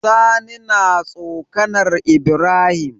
Sani na tsokAnar ibrahim